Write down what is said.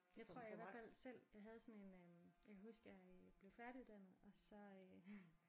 Jeg tror jeg i hvert fald selv jeg havde sådan en øh jeg kan huske jeg blev færdiguddannet og så øh